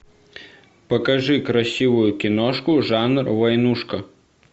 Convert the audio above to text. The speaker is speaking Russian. покажи красивую киношку жанр войнушка